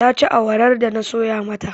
Ta ci awarar da na soya mata.